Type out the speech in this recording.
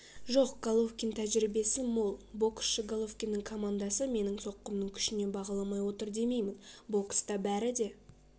жоқ головкин тәжірибесі мол боксшы головкиннің командасы менің соққымның күшін бағаламай отыр демеймін бокста бәрі де